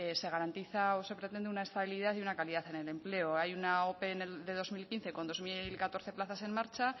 se garantiza o se pretende una estabilidad y una calidad en el empleo hay una ope de dos mil quince con dos mil catorce plazas en marcha